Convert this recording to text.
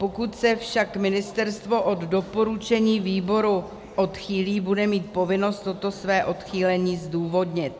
Pokud se však ministerstvo od doporučení výboru odchýlí, bude mít povinnost toto své odchýlení zdůvodnit.